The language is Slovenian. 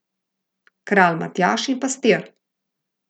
Kralj Matjaž in pastir.